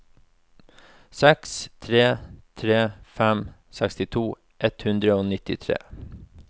seks tre tre fem sekstito ett hundre og nittitre